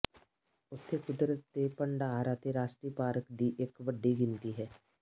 ਉੱਥੇ ਕੁਦਰਤ ਦੇ ਭੰਡਾਰ ਅਤੇ ਰਾਸ਼ਟਰੀ ਪਾਰਕ ਦੀ ਇੱਕ ਵੱਡੀ ਗਿਣਤੀ ਹੈ